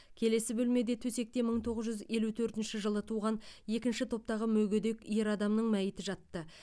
келесі бөлмеде төсекте мың тоғыз жүз елу төртінші жылы туған екінші топтағы мүгедек ер адамның мәйіті жатты